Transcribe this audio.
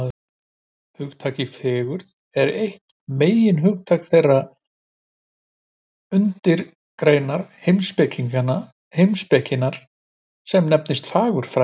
Hugtakið fegurð er eitt meginhugtaka þeirrar undirgreinar heimspekinnar sem nefnist fagurfræði.